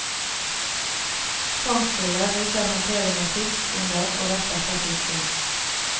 Fangstbilder viser håndtering av fisk under og rett etter fisking.